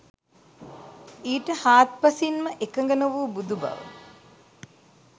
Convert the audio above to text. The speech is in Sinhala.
ඊට හාත්පසින් ම එකඟ නොවූ බුදු බව